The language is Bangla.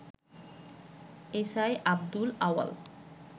এসআই আব্দুল আউয়াল